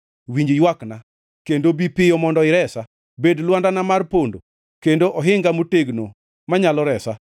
Winj ywakna, kendo bi piyo mondo iresa; bed lwandana mar pondo, kendo ohinga motegno manyalo resa.